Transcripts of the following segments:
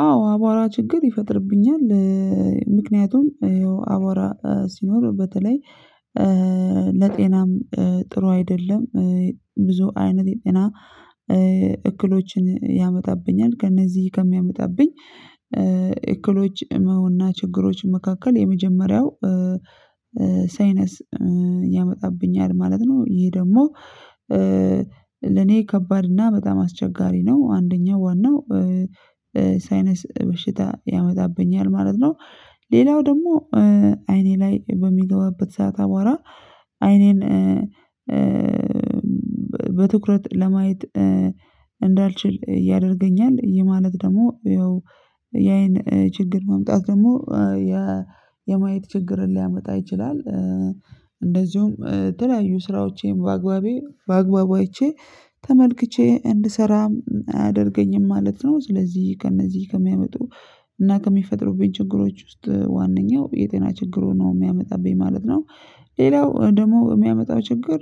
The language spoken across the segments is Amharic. አዎ አቧራ ችግር ይፈጥርብኛል ምክንያቱም ያው አቧራ ሲኖር በተለይ ለጤናም ጥሩ አይደለም ብዙ አይነት የጤና እክሎችን ያመጣብኛል ከእነዚህ ከሚያመጣብኝ እክሎች ህመምና ችግሮች መካከል የመጀመሪያው ሳይነስ ያመጣብኛል ማለት ነው ይሄ ደግሞ ለኔ ከባድ እና በጣም አስቸጋሪ ነው አንደኛው ዋናው ሳይነስ በሽታ ያመጣብኛል ማለት ነው ሌላው ደግሞ አይኔ ላይ በሚገባበት ሰዓት አቧራ አይኔን በትኩረት ለማየት እንዳልችል ያደርገኛል ይህ ማለት ደግሞ ያይን ችግር ማምጣት ደግሞ የማየት ችግርን ሊያመጣ ይችላል እንደዚሁም የተለያዩ ስራዎቼን በአግባቡ አይቼ ተመልክቼ እንድሰራም አያደርገኝም ማለት ነው። ስለዚህ ከእነዚህ ከሚያመጡ እና ከሚፈጥሩብኝ ችግሮች ውስጥ ዋነኛው የጤና ችግርን ነው የሚያመጣብኝ ማለት ነው ሌላው ደግሞ የሚያመጣው ችግር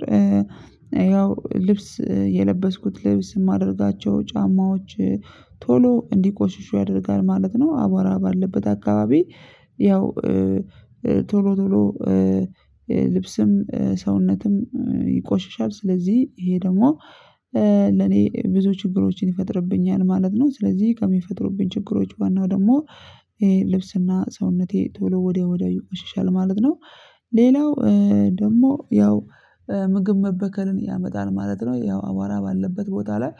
ያው ልብስ የለበስኩት ልብስ የማደርጋቸው ጫማዎች ቶሎ እንዲቆሽሹ ያደርጋል ማለት ነው አቧራ ባለበት አካባቢ ያው ቶሎ ቶሎ ልብስም ሰውነትም ይቆሽሻል ስለዚህ ይሄ ደግሞ ለኔ ብዙ ችግሮችን ይፈጥርብኛል ማለት ነው ስለዚህ ከሚፈጥሩብኝ ችግሮች ዋናው ደግሞ ይሄ ልብስና ሰውነቴ ቶሎ ወዲያው ወዲያው ይቆሽሻል ማለት ነው። ሌላው ደግሞ ያው ምግብ መበከልን ያመጣል ማለት ነው ያው አቧራ ባለበት ቦታ ላይ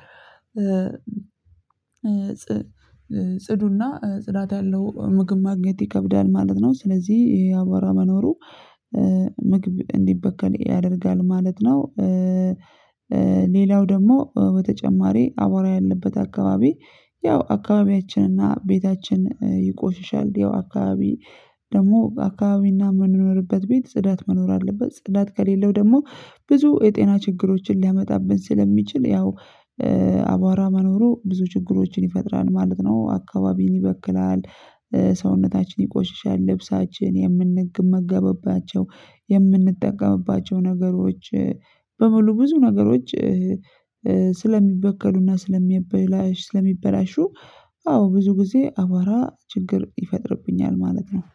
ጽዱና ጽዳት ያለው ምግብ ማግኘት ይከብዳል ማለት ነው ስለዚህ ያቧራ መኖሩ ምግብ እንዲበከል ያደርጋል ማለት ነው ሌላው ደግሞ በተጨማሪ አቧራ ያለበት አካባቢ ያው አካባቢያችንና ቤታችን ይቆሽሻል ያው አካባቢ ደግሞ አካባቢና የምንኖርበት ቤት ጽዳት መኖር አለበት ጽዳት ከሌለው ደግሞ ብዙ የጤና ችግሮችን ሊያመጣብን ስለሚችል ያው አቧራ መኖሩ ብዙ ችግሮችን ይፈጥራል ማለት ነው አካባቢን ይበክላል ሰውነታችን ይቆሽሻል ልብሳችን የምንመገብባቸው የምንጠቀምባቸው ነገሮች በሙሉ ብዙ ነገሮች ስለሚበከሉና ስለሚያበላሽ ስለሚበላሹ አዎ ብዙ ጊዜ አቧራ ችግር ይፈጥርብኛል ማለት ነው